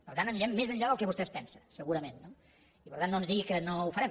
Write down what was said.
per tant anirem més enllà del que vostè es pensa segurament no i per tant no ens digui que no ho farem